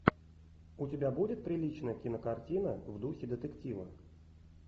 у тебя будет приличная кинокартина в духе детектива